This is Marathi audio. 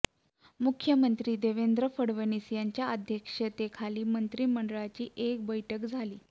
मुख्यमंत्री देवेंद्र फडणवीस यांच्या अध्यक्षतेखाली मंत्रिमंडळाची एक बैठक झाली